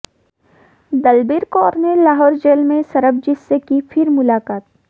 दलबीर कौर ने लाहौर जेल में सरबजीत से की फिर मुलाकात